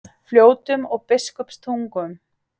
Fljótum og Biskupstungum.